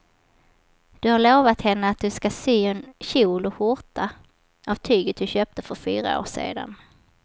Du har lovat henne att du ska sy en kjol och skjorta av tyget du köpte för fyra år sedan.